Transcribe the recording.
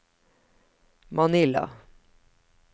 Manila